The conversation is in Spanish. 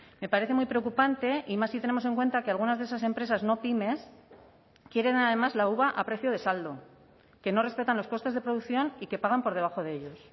me parece muy preocupante y más si tenemos en cuenta que algunas de esas empresas no pymes quieren además la uva a precio de saldo que no respetan los costes de producción y que pagan por debajo de ellos